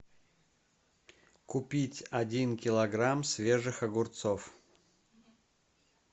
купить один килограмм свежих огурцов